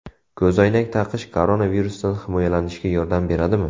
Ko‘zoynak taqish koronavirusdan himoyalanishga yordam beradimi?.